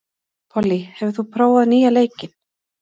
Pollý, hefur þú prófað nýja leikinn?